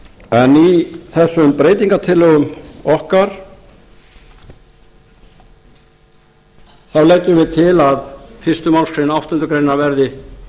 en í þessum breytingartillögum okkar þá leggjum við til að fyrstu málsgrein áttundu grein verði